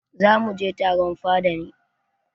Za mu mu je taron fada ne.